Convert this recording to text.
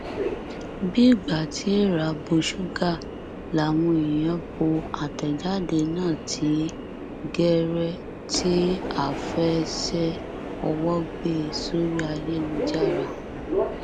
bí ìgbà tí èèrà bọ ṣúgà làwọn èèyàn bo àtẹjáde náà ní gẹrẹ tí áfẹẹṣẹ owó gbé e sórí ayélujára